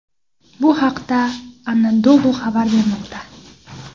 Bu haqda Anadolu xabar bermoqda .